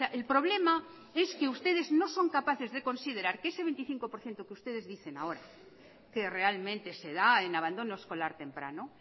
el problema es que ustedes no son capaces de considerar que ese veinticinco por ciento que ustedes dicen ahora que realmente se da en abandono escolar temprano